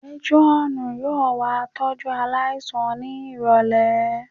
Métírọ́ọ̀nù yóò wá tọ́jú aláìsàn ní ìrọ̀lẹ̀